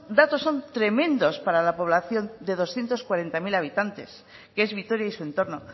datos son tremendos para la población de doscientos cuarenta mil habitantes que es vitoria y su entorno